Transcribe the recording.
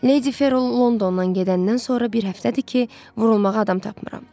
Lady Ferol Londondan gedəndən sonra bir həftədir ki, vurulmağa adam tapmıram.